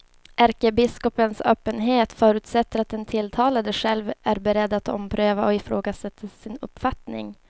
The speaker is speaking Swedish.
Ärkebiskopens öppenhet förutsätter att den tilltalade själv är beredd att ompröva och ifrågasätta sin uppfattning.